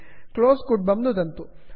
close इत्यत्र नुदन्तु